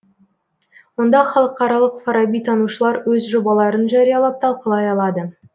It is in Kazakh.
онда халықаралық фарабитанушылар өз жобаларын жариялап талқылай алады